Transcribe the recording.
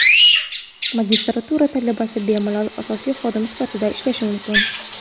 Magistratura talabasi bemalol asosiy xodim sifatida ishlashi mumkin.